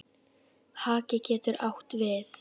Haki getur átt við